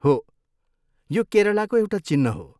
हो, यो केरलाको एउटा चिह्न हो।